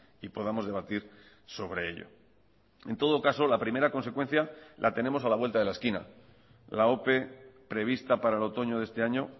y podamos debatir sobre ello en todo caso la primera consecuencia la tenemos a la vuelta de la esquina la ope prevista para el otoño de este año